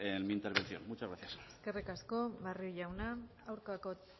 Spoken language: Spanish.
en mi intervención muchas gracias eskerrik asko barrio jauna aurkako